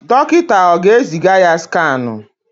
Dọkịta ọ ga-eziga ya skanụ?